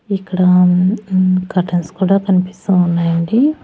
ఇక్కడ ఉ ఉమ్ కర్టెన్స్ కూడా కనిపిస్తూ ఉన్నాయండి.